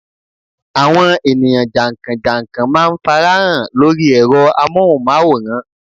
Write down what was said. Àwọn ènìyàn jànkàn jànkàn má a nfarahàn lórí ẹ̀rọ amóhùnmáwòrán